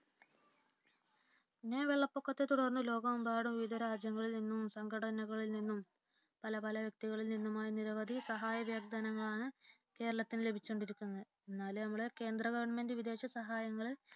പിന്നെ വെള്ളപ്പൊക്കത്തെ തുടർന്ന് ലോകമെമ്പാടുനിന്നും വിവിധ രാജ്യങ്ങളിൽ നിന്നും സംഘടനകളിൽ നിന്നും പല പല വ്യക്തികളിൽ നിന്നുമായി നിരവധി സഹായ വാഗ്ദാനങ്ങളാണ് കേരളത്തിനു ലഭിച്ചുകൊണ്ടിരിക്കുന്നത് എന്നാലും നമ്മുടെ കേന്ദ്ര ഗവണ്മെന്റ് വിദേശ സഹായങ്ങൾ